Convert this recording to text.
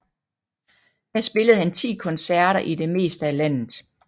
Her spillede han ti koncerter i det meste af landet